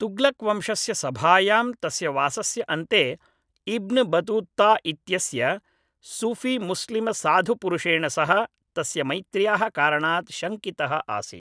तुग्लक् वंशस्य सभायां तस्य वासस्य अन्ते इब्न् बतूत्ता इत्यस्य सूफीमुस्लिमसाधुपुरुषेण सह तस्य मैत्र्याः कारणात् शङ्कितः आसीत्